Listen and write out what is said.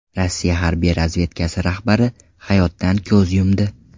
Rossiya harbiy razvedkasi rahbari hayotdan ko‘z yumdi.